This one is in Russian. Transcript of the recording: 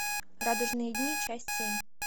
радужные дни часть семь